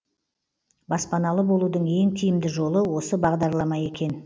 баспаналы болудың ең тиімді жолы осы бағдарлама екен